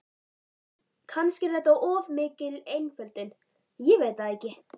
Kannski er þetta of mikil einföldun, ég veit það ekki.